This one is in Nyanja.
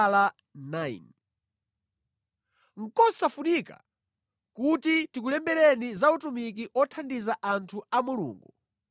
Nʼkosafunika kuti ndikulembereni za utumiki othandiza anthu a Mulungu.